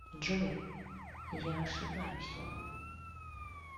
джой я ошибаюсь